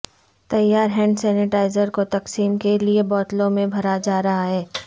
تیار hand sanitiser کو تقسیم کے لیے بوتلوں میں بھرا جا رہا ہے